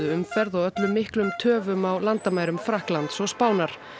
umferð og ollu miklum töfum á landamærum Frakklands og Spánar